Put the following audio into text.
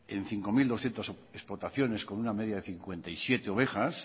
en cinco mil doscientos explotaciones con una media de cincuenta y siete ovejas